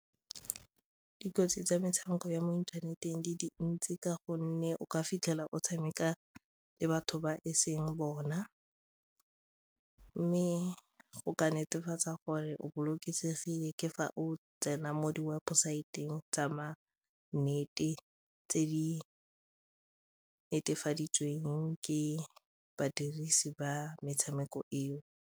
Dikotsi tsa metshameko ya mo inthaneteng di dintsi ka gonne o ka fitlhela o tshameka le batho ba e seng bona mme go ka netefatsa gore bolokesegile ke fa otsenaa mo di webosaeteng tsa ma nnete tse di netefaditsweng ke badirisi ba metshameko eo.